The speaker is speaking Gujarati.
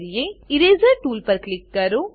ઇરેઝર ઇરેઝર ટૂલ પર ક્લિક કરો